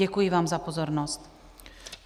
Děkuji vám za pozornost.